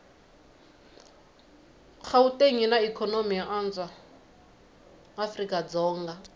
gauteng yinaikonomy yoanswa afrikadzonga